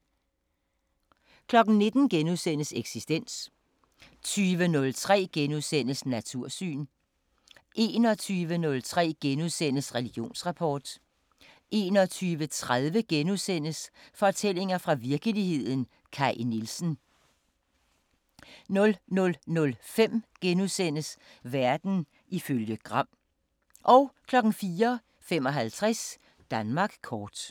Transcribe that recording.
19:00: Eksistens * 20:03: Natursyn * 21:03: Religionsrapport 21:30: Fortællinger fra virkeligheden – Kaj Nielsen * 00:05: Verden ifølge Gram * 04:55: Danmark kort